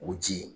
O ji